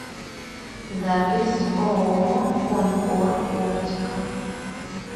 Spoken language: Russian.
запись ооо конкор оптика